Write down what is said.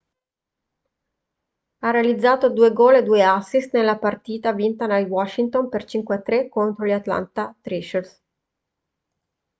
ha realizzato 2 gol e 2 assist nella partita vinta dai washington per 5-3 contro gli atlanta thrashers